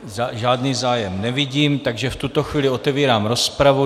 Žádný zájem nevidím, takže v tuto chvíli otevírám rozpravu.